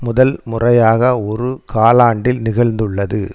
முதல் முறையாக ஒரு காலாண்டில் நிகழ்ந்துள்ளது